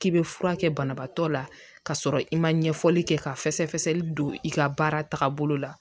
K'i bɛ fura kɛ banabaatɔ la ka sɔrɔ i ma ɲɛfɔli kɛ ka fɛsɛfɛsɛli don i ka baara taabolo la